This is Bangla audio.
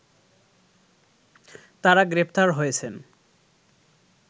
তারা গ্রেপ্তার হয়েছেন